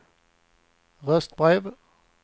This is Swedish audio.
röstbrev